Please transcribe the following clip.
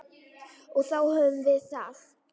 Og þá höfum við það.